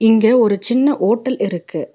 இங்க ஒரு சின்ன ஓட்டல் இருக்கு.